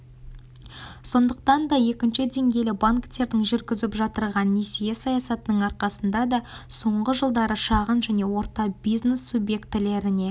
сондықтан да екінші деңгейлі банктердің жүргізіп жатырған несие саясатының арқасында да соңғы жылдары шағын және орта бизнес субъектілеріне